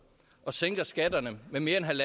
og sænker skatterne med mere